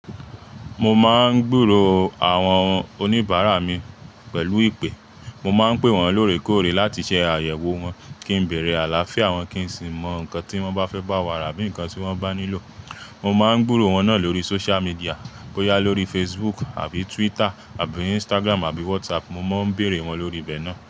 Mo máa ń gburò àwọn oníbàárà mi pẹ̀lú ìpè. Mo máa ń pè wọ́n lóòrèkóòrè láti ṣé àyẹ̀wò wọ́n, kí n bèèrè àláfíà wọ́n, kí n sì mọ nǹkan tí wọ́n bá fẹ́ bá wa rà abí nǹkan tí wọ́n bá nílò. Mo máa ń gburò wọ́n náà lórí social media, bóyá lórí Facebook àbí Twitter àbí Instagram àbí WhatsApp, mo máa ń bèèrè wọ́n lórí ibẹ̀ náà.